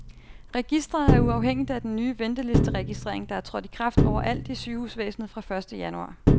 Registret er uafhængigt af den nye ventelisteregistrering, der er trådt i kraft over alt i sygehusvæsenet fra første januar.